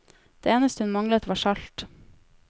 Det eneste hun manglet var salt.